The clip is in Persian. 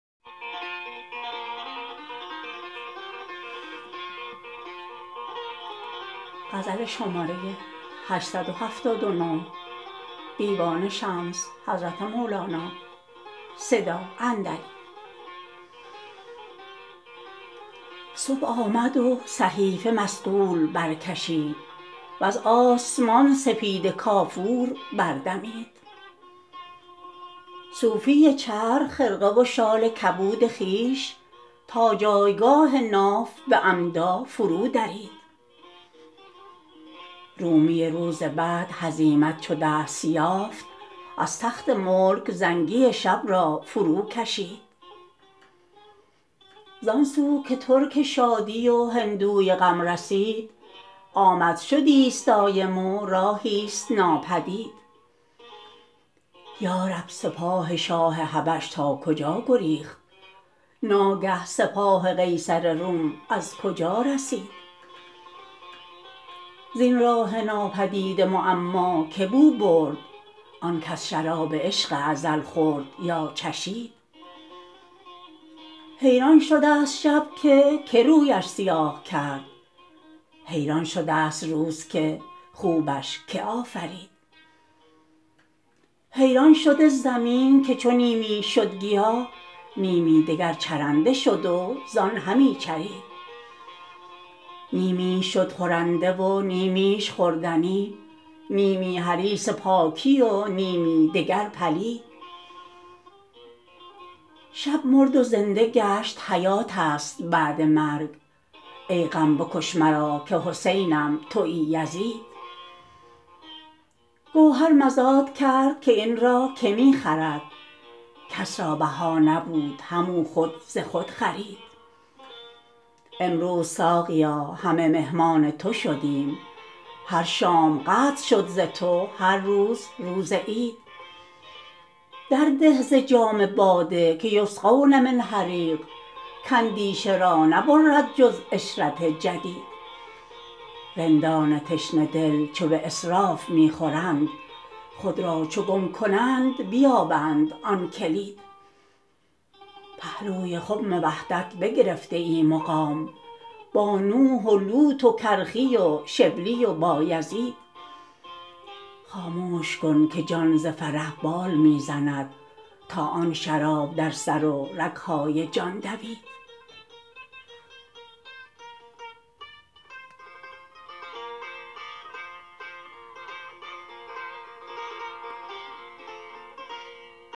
صبح آمد و صحیفه مصقول برکشید وز آسمان سپیده کافور بردمید صوفی چرخ خرقه و شال کبود خویش تا جایگاه ناف به عمدا فرودرید رومی روز بعد هزیمت چو دست یافت از تخت ملک زنگی شب را فروکشید زان سو که ترک شادی و هندوی غم رسید آمد شدی ست دایم و راهی ست ناپدید یا رب سپاه شاه حبش تا کجا گریخت ناگه سپاه قیصر روم از کجا رسید زین راه نابدید معما کی بو برد آنکه از شراب عشق ازل خورد یا چشید حیران شده ست شب که کی رویش سیاه کرد حیران شده ست روز که خوبش که آفرید حیران شده زمین که چو نیمیش شد گیاه نیمی دگر چرنده شد و زان همی چرید نیمیش شد خورنده و نیمیش خوردنی نیمی حریص پاکی و نیمی دگر پلید شب مرد و زنده گشت حیات است بعد مرگ ای غم بکش مرا که حسینم توی یزید گوهر مزاد کرد که این را کی می خرد کس را بها نبود همو خود ز خود خرید امروز ساقیا همه مهمان تو شدیم هر شام قدر شد ز تو هر روز روز عید درده ز جام باده که یسقون من رحیق که اندیشه را نبرد جز عشرت جدید رندان تشنه دل چو به اسراف می خورند خود را چو گم کنند بیابند آن کلید پهلوی خم وحدت بگرفته ای مقام با نوح و لوط و کرخی و شبلی و بایزید خاموش کن که جان ز فرح بال می زند تا آن شراب در سر و رگ های جان دوید